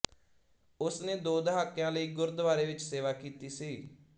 ਉਸਨੇ ਦੋ ਦਹਾਕਿਆਂ ਲਈ ਗੁਰਦੁਆਰੇ ਵਿੱਚ ਸੇਵਾ ਕੀਤੀ ਸੀ